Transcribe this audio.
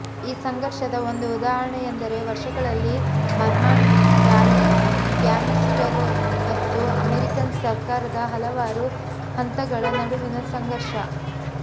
ಈ ಸಂಘರ್ಷದ ಒಂದು ಉದಾಹರಣೆಯೆಂದರೆ ವರ್ಷಗಳಲ್ಲಿ ಮಾರ್ಮನ್ ಪಾಲಿಗ್ಯಾಮಿಸ್ಟರು ಮತ್ತು ಅಮೇರಿಕನ್ ಸರ್ಕಾರದ ಹಲವಾರು ಹಂತಗಳ ನಡುವಿನ ಸಂಘರ್ಷ